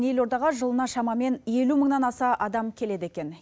елордаға жылына шамамен елу мыңнан аса адам келеді екен